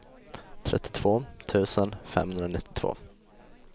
trettiotvå tusen femhundranittiotvå